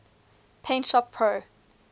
paint shop pro